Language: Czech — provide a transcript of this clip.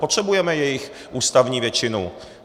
Potřebujeme jejich ústavní většinu.